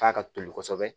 F'a ka toli kosɛbɛ